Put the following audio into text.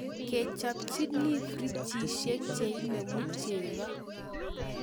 kechopchini ferejishek cheinemu chego